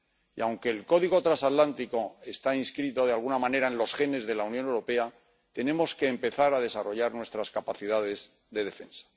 Y, aunque el código transatlántico está inscrito de alguna manera en los genes de la Unión Europea, tenemos que empezar a desarrollar nuestras capacidades de defensa.